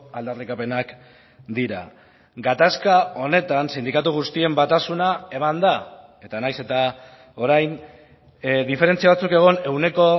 aldarrikapenak dira gatazka honetan sindikatu guztien batasuna eman da eta nahiz eta orain diferentzia batzuk egon ehuneko